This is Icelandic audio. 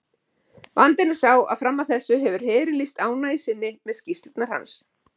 Vandinn er sá að fram að þessu hefur herinn lýst ánægju sinni með skýrslurnar hans.